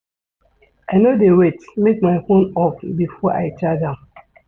I no dey wait make my fone off before I charge am.